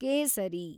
ಕೇಸರಿ